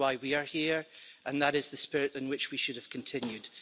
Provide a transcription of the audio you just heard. That is why we are here and that is the spirit in which we should have continued.